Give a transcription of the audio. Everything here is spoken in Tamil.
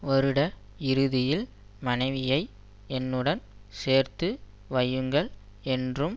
வருட இறுதியில் மனைவியை என்னுடன் சேர்த்து வையுங்கள் என்றும்